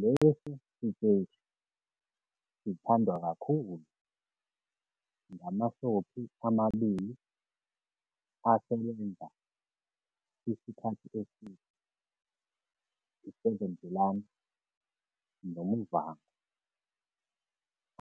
Lesi siteshi sithandwa kakhulu ngama- soapie amabili asebenza isikhathi eside i-7de Laan noMuvhango,